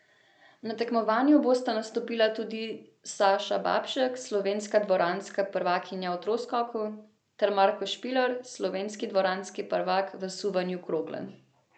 Na tekmovanju bosta nastopila tudi Saša Babšek, slovenska dvoranska prvakinja v troskoku, ter Marko Špiler, slovenski dvoranski prvak v suvanju krogle.